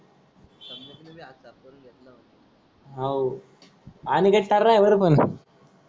हव अनिकेत टर्रा आहे बर पण